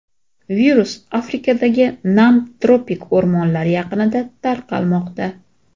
Virus Afrikadagi nam tropik o‘rmonlar yaqinida tarqalmoqda.